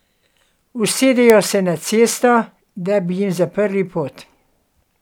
Usedejo se na cesto, da bi jim zaprli pot.